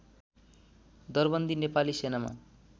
दरबन्दी नेपाली सेनामा